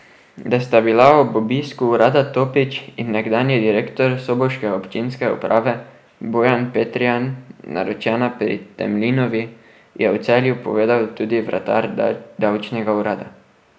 Da sta bila ob obisku urada Topič in nekdanji direktor soboške občinske uprave Bojan Petrijan naročena pri Temlinovi, je v Celju povedal tudi vratar davčnega urada.